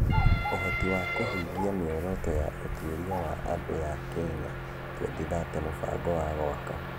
Ũhoti wa kũhingia mĩoroto ya ũtuĩria wa andũ ya Kenya 2030 mũbango wa gwaka.